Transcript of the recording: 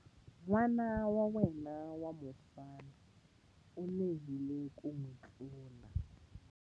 N'wana wa yena wa mufana u lehile ku n'wi tlula.